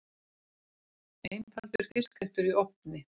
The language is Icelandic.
Einfaldur fiskréttur í ofni